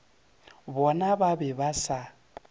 bona ba be ba sa